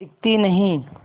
दिखती नहीं